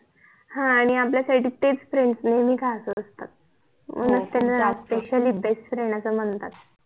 हा आणि आपल्यासाठी तेच फ्रेंड नेहमी खास असता म्हणूनच त्यांना ओफ़िशिअली बेस्ट फ्रेंड अस म्हणता